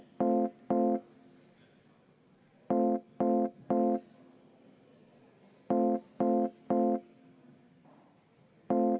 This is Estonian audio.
10 minutit vaheaega.